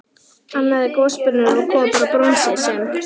Annað er gosbrunnur úr kopar og bronsi sem